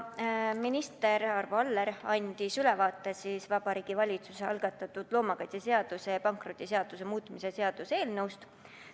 Minister Arvo Aller andis ülevaate Vabariigi Valitsuse algatatud loomakaitseseaduse ja pankrotiseaduse muutmise seaduse eelnõust.